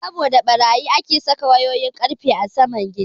Saboda ɓarayi ake saka wayoyin ƙarfe a saman gida.